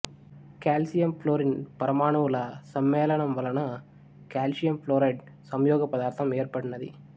calcium fluorine పరమాణువుల సమ్మేళనం వలన కాల్షియం ఫ్లోరైడ్ సంయోగ పదార్థం ఏర్పడినది